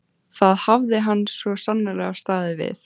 Það hafði hann svo sannarlega staðið við.